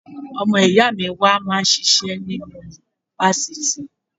Ọmọ ìyá mi wà máa ṣiṣẹ́ nínú fáfitì.